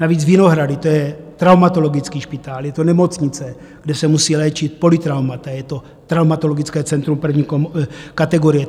Navíc Vinohrady, to je traumatologický špitál, je to nemocnice, kde se musí léčit polytraumata, je to traumatologické centrum první kategorie.